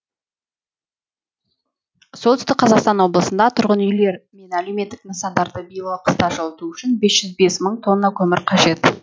солтүстік қазақстан облысында тұрғын үйлер мен әлеуметтік нысандарды биылғы қыста жылыту үшін бес жүз бес мың тонна көмір қажет